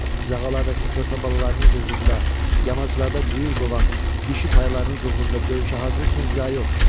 cığallardakı körpə balalarınız uğrunda, yamaclarda cüyür qovan dişi taylarınız uğrunda döyüşə hazırsınız ya yox?